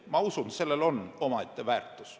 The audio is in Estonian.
Ma usun, et sellel on omaette väärtus.